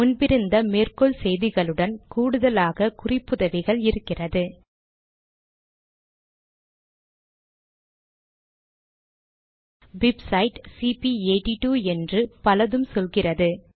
முன்பிருந்த மேற்கோள் செய்திகளுடன் கூடுதலாக குறிப்புதவிகள் இருக்கிறது பிப்சைட் சிபி82 என்று பலதும் சொல்கிறது